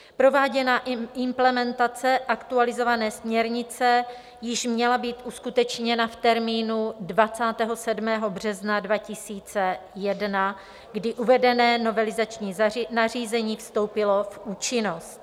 Prováděná implementace aktualizované směrnice již měla být uskutečněna v termínu 27. března 2001, kdy uvedené novelizační nařízení vstoupilo v účinnost.